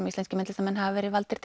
íslenskir myndlistarmenn hafa verið valdir